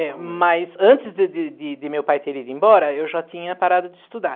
É, mas antes de de de de de meu pai ter ido embora, eu já tinha parado de estudar.